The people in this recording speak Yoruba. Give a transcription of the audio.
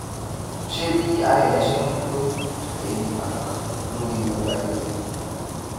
ṣé bí ara èèyàn ṣe ń wú lórí lè ní ipa kankan lórí ọjó ayé rè